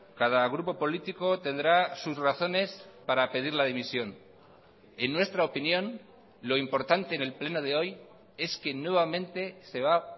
cada grupo político tendrá sus razones para pedir la dimisión en nuestra opinión lo importante en el pleno de hoy es que nuevamente se va a